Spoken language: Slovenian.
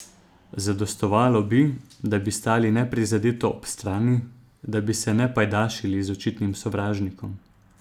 Zadostovalo bi, da bi stali neprizadeto ob strani, da bi se ne pajdašili z očitnim sovražnikom.